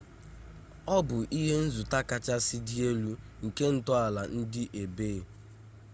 ọ bụ ihenzụta kachasị dị elu nke ntọala ndị ebay